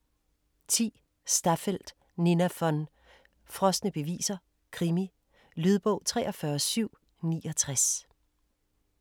10. Staffeldt, Nina von: Frosne beviser: krimi Lydbog 43769